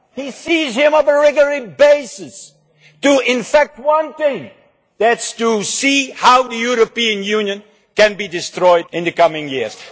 He sees him on a regular basis to effect one thing, which is to see how the European Union can be destroyed in the coming years.